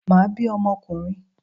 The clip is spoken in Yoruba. Màá bí ọmọ okùnrin